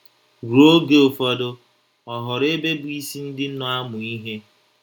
Ruo oge ụfọdụ, ọ ghọrọ ebe bụ́ isi ndị nọ amụ ihe.